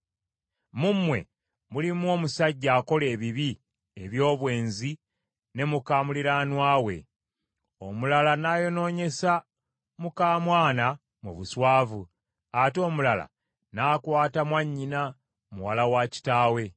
Mu mmwe mulimu omusajja akola ebibi eby’obwenzi ne muka muliraanwa we, omulala n’ayonoonyesa muka mwana mu buswavu, ate omulala n’akwata mwannyina muwala wa kitaawe.